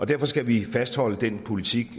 derfor skal vi fastholde den politik